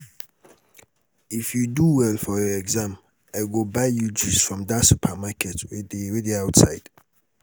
if you do well for your exam i go buy you juice from dat supermarket wey dey outside